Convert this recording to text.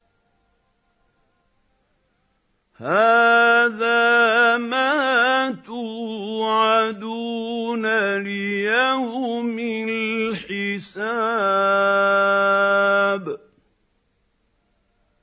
هَٰذَا مَا تُوعَدُونَ لِيَوْمِ الْحِسَابِ